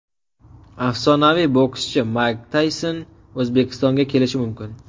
Afsonaviy bokschi Mayk Tayson O‘zbekistonga kelishi mumkin.